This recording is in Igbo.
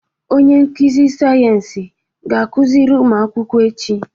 Onye nkuzi sayensị ga-akụziri ụmụ akwụkwọ echi.